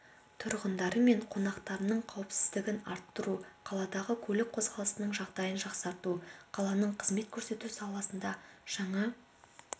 тұрғындары мен қонақтарының қауіпсіздігін арттыру қаладағы көлік қозғалысының жағдайын жақсарту қаланың қызмет көрсету саласында жаңа